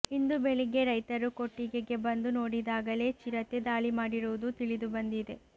ಇಂದು ಬೆಳಗ್ಗೆ ರೈತರು ಕೊಟ್ಟಿಗೆಗೆ ಬಂದು ನೋಡಿದಾಗಲೇ ಚಿರತೆ ದಾಳಿ ಮಾಡಿರುವುದು ತಿಳಿದುಬಂದಿದೆ